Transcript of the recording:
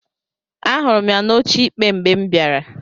Ahụrụ m ya n'oche ikpe mgbe m bịara.